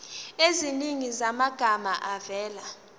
eziningi zamagama avela